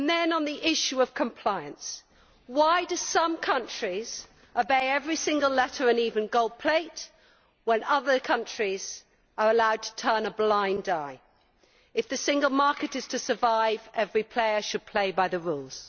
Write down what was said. On the issue of compliance, why do some countries obey every single letter and even gold plate, when other countries are allowed to turn a blind eye? If the single market is to survive, every player should play by the rules.